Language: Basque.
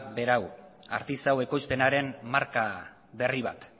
da hau artisau ekoizpenaren marka berri bat